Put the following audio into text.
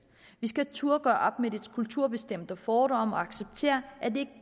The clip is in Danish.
vi skal turde at gøre op med de kulturbestemte fordomme og acceptere at det